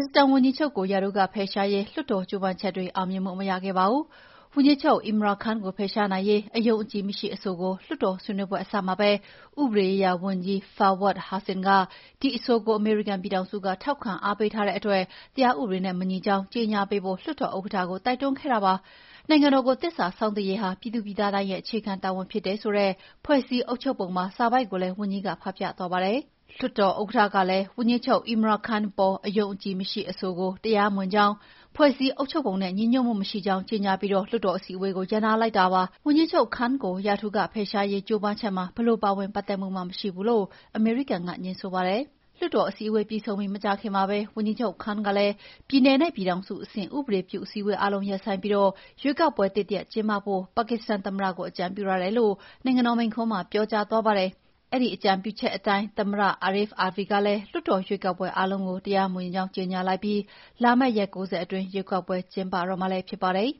စ္စတန်ဝန်ကြီးချုပ်ကို ရာထူးကဖယ်ရှားရေး လွှတ်တော်ကြိုးပမ်းချက် အောင်မြင်မှု မရခဲ့ပါဘူး။ ဝန်ကြီးချုပ် Imran Khan ကို ဖယ်ရှားနိုင်ရေး အယုံအကြည်မရှိ အဆိုကို လွှတ်တော် ဆွေးနွေးပွဲအစမှာပဲ ဥပဒေရေးရာဝန်ကြီး Fawad Hussain က ဒီအဆိုကို အမေရိကန်ပြည်ထောင်စုက ထောက်ခံအားပေးထားတဲ့အတွက် တရားဥပဒေနဲ့ မညီကြောင်း ကြေညာပေးဖို့ လွှတ်တော်ဥက္ကဋ္ဌကို တိုက်တွန်းခဲ့ပါတယ်။ နိုင်ငံတော်ကို သစ္စာစောင့်သိရေးဟာ ပြည်သူပြည်သားတိုင်းရဲ့ အခြေခံတာဝန် ဖြစ်တယ်ဆိုတဲ့ ဖွဲ့စည်းအုပ်ချုပ်ပုံပါ စာပိုဒ်ကိုလည်း ဝန်ကြီးက ဖတ်ပြသွားပါတယ်။ လွှတ်တော်ဥက္ကဋ္ဌကလည်း ဝန်ကြီးချုပ် Imran Khan အပေါ် အယုံအကြည်မရှိ အဆိုဟာ တရားမဝင်ကြောင်း၊ ဖွဲ့စည်းအုပ်ချုပ်ပုံနဲ့ ညီညွှတ်မှုမရှိကြောင်း ကြေညာပြီး လွှတ်တော် အထူးအစည်းအဝေးကို ရပ်နားလိုက်တာပါ။ ဝန်ကြီးချုပ် Khan ကို ရာထူးကဖယ်ရှားရေး ကြိုးပမ်းချက်မှာ ဘယ်လိုပါဝင်ပတ်သက်မှုမှ မရှိဘူးလို့ အမေရိကန်က ငြင်းဆိုပါတယ်။ လွှတ်တော်အစည်းအဝေး ပြီးဆုံးပြီး မကြာခင်မှာပဲ ဝန်ကြီးချုပ် Imran Khan ကလည်း ပြည်နယ်နဲ့ ပြည်ထောင်စုအဆင့် ဥပဒေပြု အစည်းအဝေးအားလုံး ရပ်ဆိုင်းပြီး ရွေးကောက်ပွဲသစ်တရပ် ကျင်းပဖို့ ပါကစ္စတန်သမ္မတကို အကြံပြုထားတယ်လို့ နိုင်ငံတော်မိန့်ခွန်းမှာ ပြောကြားသွားပါတယ်။ အဲဒီအကြံပြုချက်အတိုင်းပဲ သမ္မတ Arif Alvi ကလည်း လွှတ်တော်အစည်းအဝေး အားလုံး တရားမဝင်ကြောင်း ကြေညာလိုက်သလို လာမယ့် ရက် ၉၀ အတွင်းမှာပဲ ရွေးကောက်ပွဲတွေ ကျင်းပတော့မှာလည်း ဖြစ်ပါတယ်